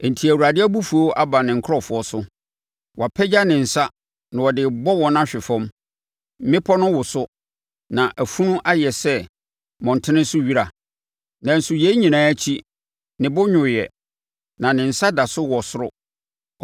Enti Awurade abufuo aba ne nkurɔfoɔ so, wapagya ne nsa na ɔde rebɔ wɔn ahwe fam. Mmepɔ no woso, na afunu ayɛ sɛ mmɔntene so wira. Nanso yei nyinaa akyi, ne bo nnwoeɛ, na ne nsa da so wɔ soro.